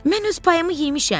“Mən öz payımı yemişəm.”